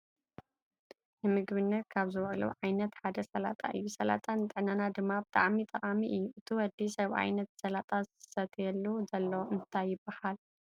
ንምግብነት ካብ ዝውዕሉ ዓይነት ሓደ ስላጣ እዩ። ስላጣ ንጥዕናና ድማ ብጣዕሚ ጠቃሚ እዩ። እቲ ወዲ ሰብኣይ ነቲ ስላጣ ዘስትየሉ ዘሉ እንታይ ይብሃል?